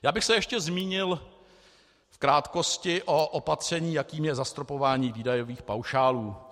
Já bych se ještě zmínil v krátkosti o opatření, jakým je zastropování výdajových paušálů.